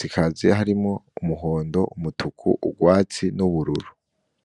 hakaba harimwo umuhondo, umutuku, urwatsi n'ubururu.